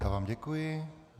Já vám děkuji.